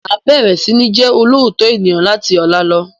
Máa bẹ̀rẹ̀ sini jẹ olóòótọ́ ènìyàn láti ọ̀la lọ